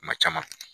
Kuma caman